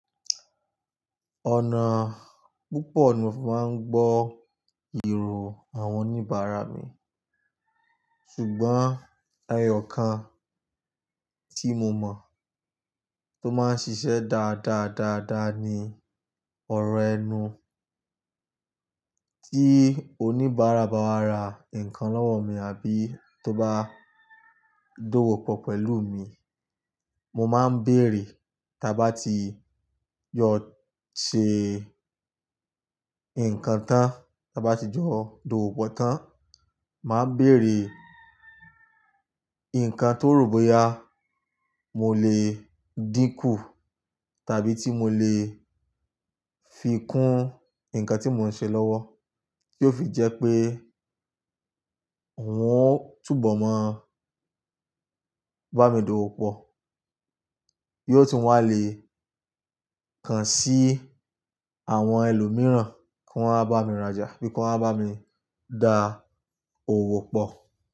Ọ̀nà púpọ̀ ni màá ń gbọ́ èrò àwọn oníbàárà mi. Ṣùgbọ́n ẹyọ̀ kan tí mo mọ̀ tó máa ń ṣiṣẹ́ dáadáa dáadáa ni ọ̀rọ̀ ẹnu. Tí oníbàárà bá wá ra nǹkan lọ́wọ́ mi àbí tó bá dówó pọ̀ pẹ̀lú mi, mo máa ń bèèrè tá bá ti yọ̀ ṣe nǹkan tán, tá bá ti jọ dòwò pọ̀ tán, màá bèèrè nǹkan tó rò bóyá mo lè dínkù tàbí tí mo lè fi kún nǹkan tí mò ń ṣe lọ́wọ́ kí ó fi jẹ́ pé wọn ó túbọ̀ máa bá mi dòwò pọ̀. Yóò tún wà leè kan sí àwọn ẹlòmíràn kí wọ́n máa bá mi rajà bí kí wọ́n máa bá mi dá òwò pọ̀